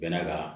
Bɛnna ka